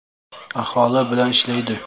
Aholi bilan ishlaydi.